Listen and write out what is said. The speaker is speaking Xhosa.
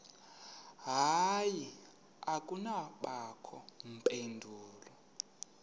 hayi akubangakho mpendulo